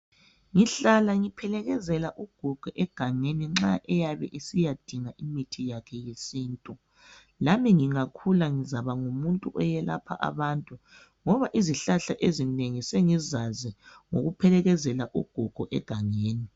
Ngihlala ngiphelekezela ugogo egangeni nxa eyabe esiyadinga imithi yakhe yesintu, lami ngingangakhula ngizaba ngumuntu oyelapha abantu ngoba izihlahla ezinengi sengizazi ngokuphelekezela ugogo egangeni.